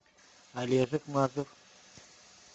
олежек мазур